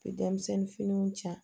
Denmisɛnnin finiw ja